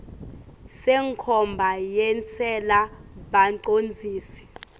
senkhomba yentsela bacondzisi